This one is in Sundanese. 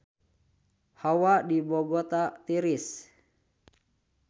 Hawa di Bogota tiris